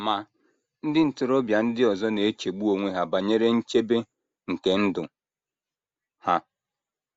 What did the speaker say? Ma, ndị ntorobịa ndị ọzọ na - echegbu onwe ha banyere nchebe nke ndụ ha.